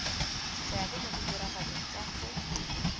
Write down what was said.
seabe mo ditiragalong tsa go